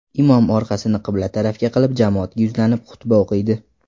Imom orqasini qibla tarafga qilib jamoatga yuzlanib xutba o‘qiydi.